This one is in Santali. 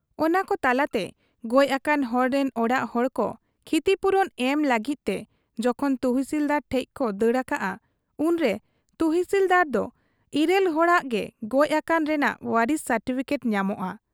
ᱚᱱᱟᱠᱚ ᱛᱟᱞᱟᱛᱮ ᱜᱚᱡ ᱟᱠᱟᱱ ᱦᱚᱲ ᱨᱤᱱ ᱚᱲᱟᱜ ᱦᱚᱲ ᱠᱚ ᱠᱷᱤᱛᱤ ᱯᱩᱨᱩᱱ ᱮᱢ ᱞᱟᱹᱜᱤᱫ ᱛᱮ ᱡᱚᱠᱷᱚᱱ ᱛᱩᱥᱤᱞᱫᱟᱨ ᱴᱷᱮᱫ ᱠᱚ ᱫᱟᱹᱲ ᱟᱠᱟᱜ ᱟ, ᱩᱱᱨᱮ ᱛᱩᱥᱤᱞᱫᱟᱨᱫᱚ ᱤᱨᱟᱹᱞ ᱦᱚᱲᱟᱜ ᱜᱮ ᱜᱚᱡ ᱟᱠᱟᱱ ᱨᱮᱱᱟᱜ ᱣᱟᱨᱤᱥᱤ ᱥᱟᱴᱤᱯᱷᱤᱠᱮᱴ ᱧᱟᱢᱚᱜ ᱟ ᱾